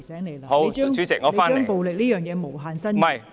你不應把暴力這個觀點無限伸延。